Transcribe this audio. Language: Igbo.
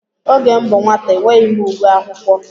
Oge m bụ nwata enweghị m uwe akwụkwọ.